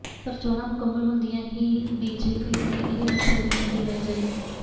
ਪਰ ਚੋਣਾਂ ਮੁਕੰਮਲ ਹੁੰਦਿਆਂ ਹੀ ਬੀ ਜੇ ਪੀ ਦੀ ਇਹ ਮਨਜ਼ੂਰੀ ਨਹੀਂ ਰਹਿ ਜਾਏਗੀ